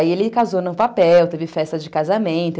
Aí ele casou no papel, teve festa de casamento.